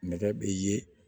Nɛgɛ be ye